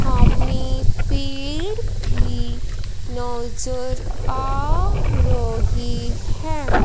हमें पेड़ भी नजर आ रही हैं।